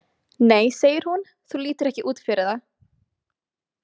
Nei, segir hún, þú lítur ekki út fyrir það!